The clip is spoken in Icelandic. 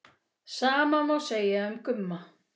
Sama má segja um Gumma.